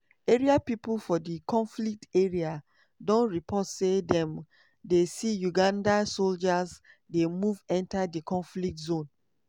area pipo for di conflict area don report say dem dey see uganda soldiers dey move enta di conflict zone.